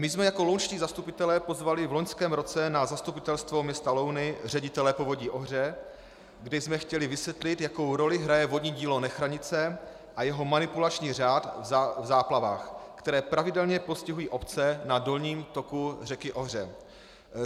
My jsme jako lounští zastupitelé pozvali v loňském roce na zastupitelstvo města Louny ředitele Povodí Ohře, kde jsme chtěli vysvětlit, jakou roli hraje vodní dílo Nechranice a jeho manipulační řád v záplavách, které pravidelně postihují obce na dolním toku řeky Ohře.